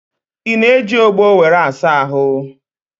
Ị na-eji ọgbọ were asa ahụ?